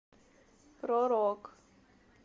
про рок